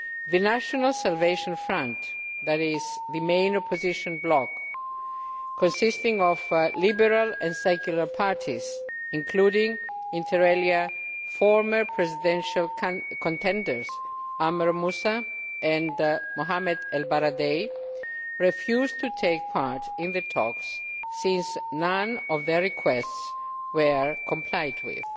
The National Salvation Front, which is the main opposition bloc, consisting of liberal and secular parties, including, inter alia, former presidential contenders Amr Moussa and Mohamed El Baradei, refused to take part in the talks, since none of their requests were complied with